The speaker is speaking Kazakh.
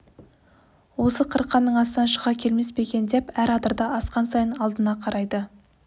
осы қырқаның астынан шыға келмес пе екен деп әр адырды асқан сайын алдына қарайды